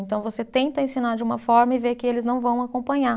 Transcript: Então você tenta ensinar de uma forma e vê que eles não vão acompanhar.